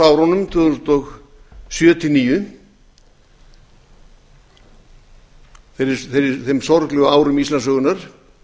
manndómsárunum tvö þúsund og sjö til tvö þúsund og níu þeim sorglegu árum íslandssögunnar